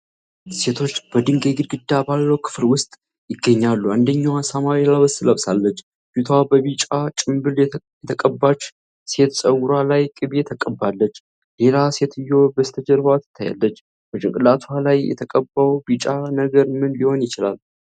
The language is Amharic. ሁለት ሴቶች በድንጋይ ግድግዳ ባለው ክፍል ውስጥ ይገኛሉ። አንደኛዋ ሰማያዊ ልብስ ለብሳ፣ ፊቷ በቢጫ ጭምብል የተቀባች ሴት ፀጉር ላይ ቅቤ ትቀባለች። ሌላ ሴትዬ በስተጀርባ ትታያለች። በጭንቅላቷ ላይ የተቀባው ቢጫ ነገር ምን ሊሆን ይችላል?